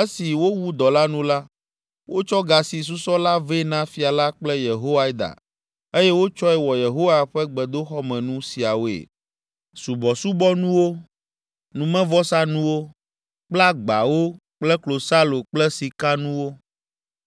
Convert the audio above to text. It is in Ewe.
Esi wowu dɔ la nu la, wotsɔ ga si susɔ la vɛ na fia la kple Yehoiada eye wotsɔe wɔ Yehowa ƒe gbedoxɔmenu siawoe: subɔsubɔnuwo, numevɔsanuwo kple agbawo kple klosalo kple sikanuwo.